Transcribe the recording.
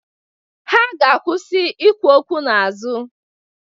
Ha ga-akwụsị ikwu okwu n'azụ.